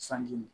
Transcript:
Sanji